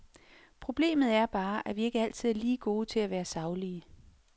Problemet er bare, at vi ikke altid er lige gode til at være saglige.